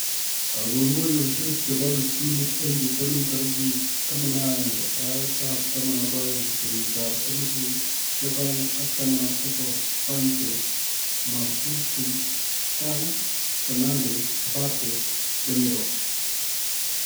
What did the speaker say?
Kong'unguyosiek chebo kiptulit en bitonin tarigit 11/12/2019: Sancho, Manzukic, Can, Fernandes, Mbappe, Demiral